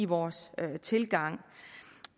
vores tilgang